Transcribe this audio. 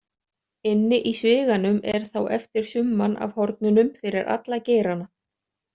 Inni í sviganum er þá eftir summan af hornunum fyrir alla geirana.